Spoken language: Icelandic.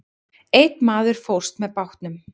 Einn maður fórst með bátnum.